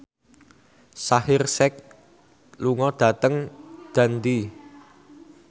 Shaheer Sheikh lunga dhateng Dundee